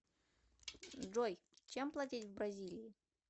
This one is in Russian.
джой чем платить в бразилии